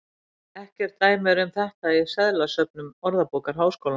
Ekkert dæmi er um þetta í seðlasöfnum Orðabókar Háskólans.